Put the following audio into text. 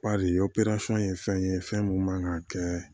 Badi ye fɛn ye fɛn min man ka kɛ